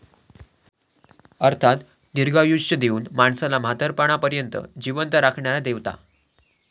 अर्थात दीर्घायुष्य देऊन माणसाला म्हातारपणापर्यंत जीवंत राखणाऱ्या देवता!